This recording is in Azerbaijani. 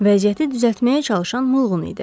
Vəziyyəti düzəltməyə çalışan Mılğın idi.